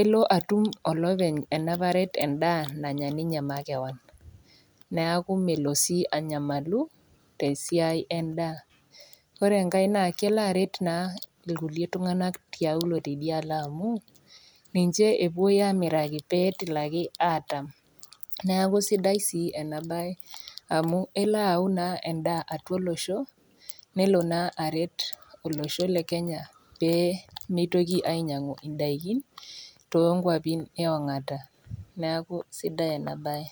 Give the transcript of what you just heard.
elo atum olopeny ena paret endaa nanya ninye makewan , neaku melo sii anyamalu tesiai endaa. Ore enkai naa kelo aret ilkulie tung'anak tiaulo teidialo amu ninche epuoi aamiraki pee etumoki atam, neaku sidai sii ena baye amu elo ayau endaa naa atua olosho. Nelo naa aret olosho le Kenya pee meitoki ainyang'u indaiki too inkwapi e ong'ata, neaku sidai ena baye.